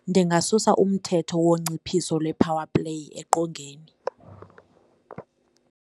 Ndingasusa umthetho wonciphiso le-powerplay eqongeni.